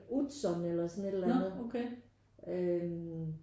Utzon eller sådan et eller andet øh